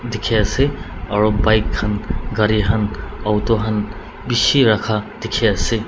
dikhi ase aro bike khan gari khan auto khan bishi rakha dikhi ase.